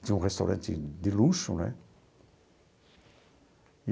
Tinha um restaurante de luxo, né?